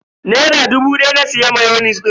Naira dubu daya na siya mayonis din.